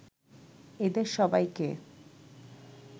এদের সবাইকে